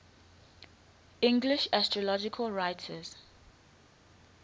english astrological writers